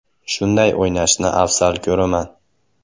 Shunday o‘ynashni afzal ko‘raman.